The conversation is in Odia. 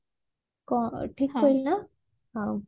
ଠିକ କହିଲି ନା